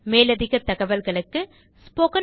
மேலதிகத் தகவல்களுக்கு httpspoken tutorialorgNMEICT Intro